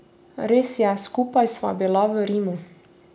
Res je, skupaj sva bila v Rimu.